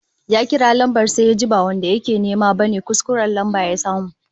Ya kira lambar sai yajin ba wanda yake nema bane, kuskuren lambar ya samu